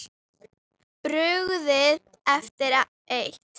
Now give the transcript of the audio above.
Brugðið eftir eitt.